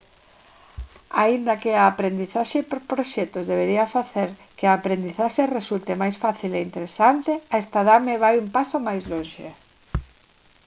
aínda que a aprendizaxe por proxectos debería facer que a aprendizaxe resulte máis fácil e interesante a estadame vai un paso máis lonxe